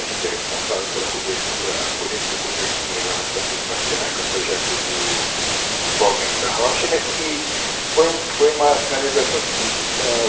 A gente é responsável pela cobertura a polêmica cobertura lá da Praça do Patriarca, um projeto do do Paulo Mendes da Rocha, mas que foi um foi uma sinalização seguinte ãh